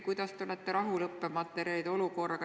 Kuidas te õppematerjalide olukorraga rahul olete?